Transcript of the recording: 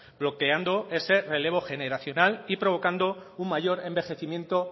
bloqueando ese relevo generacional y provocando un mayor envejecimiento